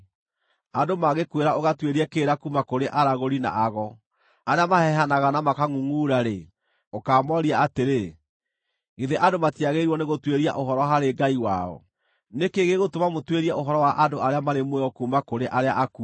Andũ mangĩkwĩra ũgatuĩrie kĩrĩra kuuma kũrĩ aragũri na ago arĩa mahehanaga na makangʼungʼura-rĩ, ũkaamoria atĩrĩ, “Githĩ andũ matiagĩrĩirwo nĩgũtuĩria ũhoro harĩ Ngai wao?” Nĩ kĩĩ gĩgũtũma mũtuĩrie ũhoro wa andũ arĩa marĩ muoyo kuuma kũrĩ arĩa akuũ?